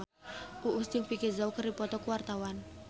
Uus jeung Vicki Zao keur dipoto ku wartawan